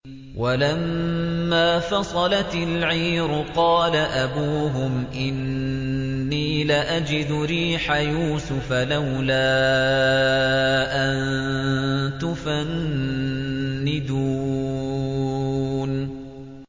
وَلَمَّا فَصَلَتِ الْعِيرُ قَالَ أَبُوهُمْ إِنِّي لَأَجِدُ رِيحَ يُوسُفَ ۖ لَوْلَا أَن تُفَنِّدُونِ